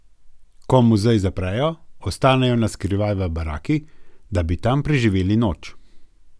Ko muzej zaprejo, ostanejo na skrivaj v baraki, da bi tam preživeli noč.